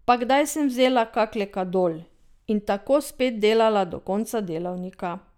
Pa kdaj sem vzela kak lekadol in tako spet delala do konca delavnika.